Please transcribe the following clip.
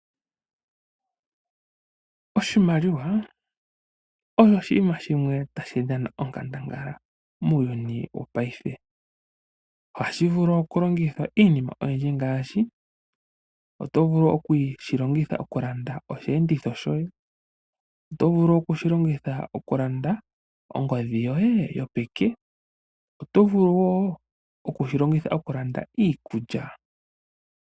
Oshimaliwa osho oshinima shimwe tashi dhana onkandangala muuyuni wopaife. Ohashi vulu okulongithwa mokulanda iinima oyindji ngaashi osheenditho shoye, ongodhi yopeke nosho woo iikulya.